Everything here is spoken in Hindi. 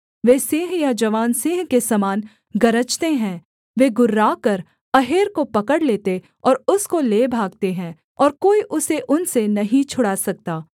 वे सिंह या जवान सिंह के समान गरजते हैं वे गुर्राकर अहेर को पकड़ लेते और उसको ले भागते हैं और कोई उसे उनसे नहीं छुड़ा सकता